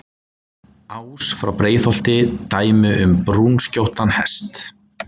Ás frá Breiðholti, dæmi um brúnskjóttan hest.